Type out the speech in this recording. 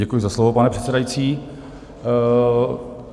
Děkuji za slovo, pane předsedající.